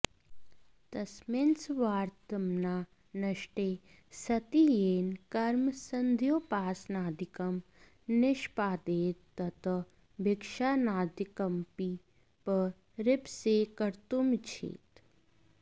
तस्मिन्सर्वात्मना नष्टे सति येन कर्म संध्योपासनादिकं निष्पादयेत् तत् भिक्षाटनादिकमपि परिप्सेत्कर्तुमिच्छेत्